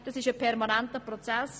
Das ist ein permanenter Prozess.